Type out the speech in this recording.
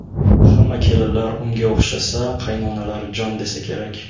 Hamma kelinlar unga o‘xshasa, qaynonalar jon desa kerak”.